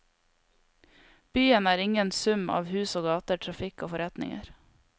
Byen er ingen sum av hus og gater, trafikk og forretninger.